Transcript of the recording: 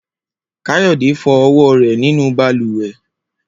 Kayode fo ọwọ rẹ ninu balùwẹ